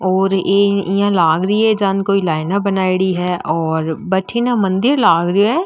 और इया लाग री है जाने कोई लाइन बनायेडी है और भटीने मंदिर लाग रो है।